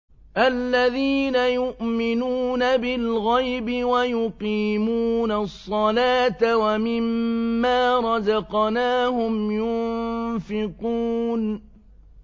الَّذِينَ يُؤْمِنُونَ بِالْغَيْبِ وَيُقِيمُونَ الصَّلَاةَ وَمِمَّا رَزَقْنَاهُمْ يُنفِقُونَ